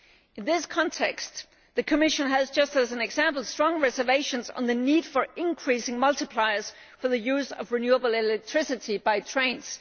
In this context, the Commission has, for example, just as strong reservations about the need to increase multipliers for the use of renewable electricity by trains.